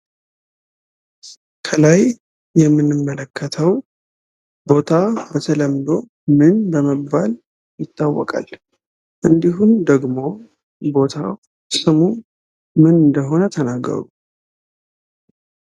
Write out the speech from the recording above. ከላይ የምንመለከተው ቦታ በተለምዶ ምን በመባል ይታወቃል? እንድሁም ደግሞ ቦታው ስሙ ምን እንደሆነ ተናገሩ።